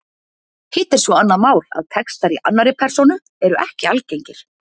Hitt er svo annað mál að textar í annarri persónu eru ekki algengir.